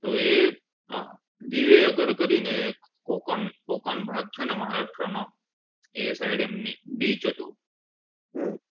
તો એ એ એમની side beach હતું